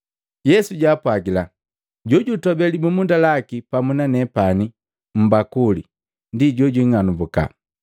Yesu jaapwajila, “Jojutobe libumunda laki pamu na nepani mmbakuli ndi jojing'anumbuka.